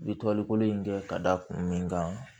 I bɛ toli kolo in kɛ ka da kun min kan